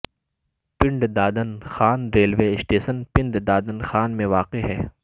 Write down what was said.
پنڈ Dadan Khan railway station Pind Dadan Khan میں واقع ہے